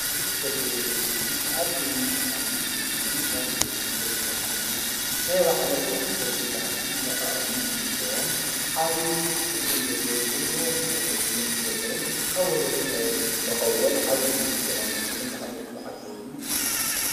እዝ ፀጕሪ ብእሲ እዙይ ኣቢን ሻንጕልጎምዝን ጋምቤድላን ዝረከብ ኮይኑ ናይ ኣባዓሎም ደስ ዘብል በሃልን ንዓኦምን ዝምችቦም ዓብን ድርጕም ዘለዎን ብዙኅ ን ትምህርቲ ዘለዉን ካብ ወሎዶም ናበሎዶም ዝረኸዉዎን ዓዊ ትምህርቲ ዝቐኑመሱሉን ብሃሎም ዝቐቀወሉን እዩ::